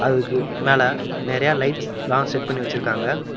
அதுக்கு மேல நெறையா லைட்ஸ் எல்லா செட் பண்ணி வெச்சிருக்காங்க.